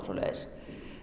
svoleiðis